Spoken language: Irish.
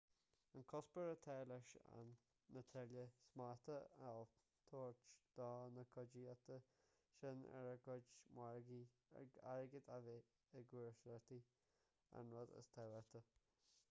an cuspóir atá leis ná tuilleadh smachta a thabhairt do na cuideachtaí sin ar a gcuid margaí airgead a bheith i gcúrsaíocht an rud is tábhachtaí